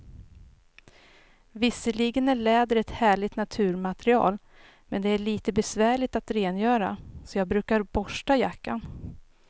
Visserligen är läder ett härligt naturmaterial, men det är lite besvärligt att rengöra, så jag brukar borsta jackan.